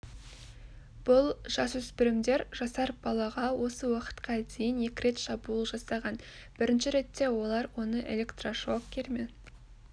бұл жасөспірімдер жасар балаға осы уақытқа дейін екі рет шабуыл жасаған бірінші ретте олар оны электрошокермен